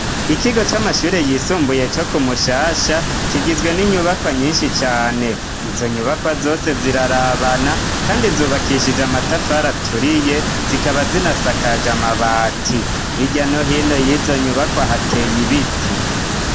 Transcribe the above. Ikigo c'amashure yisumbuye co kumushasha kigizwe n'inyubakwa nyinshi cane izo nyubakwa zose zirarabana kandi zubakishije amatafari aturiye zikaba zinasakaje amabati hirya no hino y'izo nyubakwa hateye ibiti.